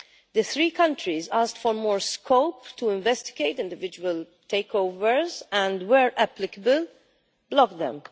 The three countries asked for more scope to investigate individual takeovers and, where applicable, to block them.